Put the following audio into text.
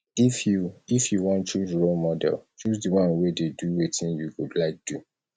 if you if you wan choose role model choose di one wey dey do wetin you go like do